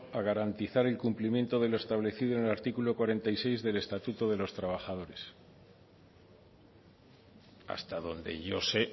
a garantizar el cumplimiento de lo establecido en el artículo cuarenta y seis del estatuto de los trabajadores hasta donde yo sé